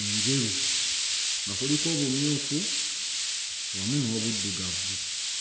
enjeru nga kuliko obumyufu wamu n'obuddugavu.